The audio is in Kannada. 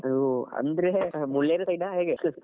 ಹೋ ಅಂದ್ರೆ ಮುಳ್ಳೇರಿಯಾ side ಅ ಹೇಗೆ .